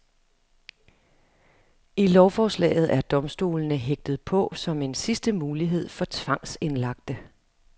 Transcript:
I lovforslaget er domstolene hægtet på som en sidste mulighed for tvangsindlagte.